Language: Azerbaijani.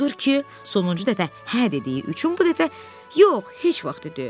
Odur ki, sonuncu dəfə hə dediyi üçün bu dəfə yox, heç vaxt dedi.